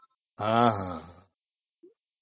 ହଁ ହଁ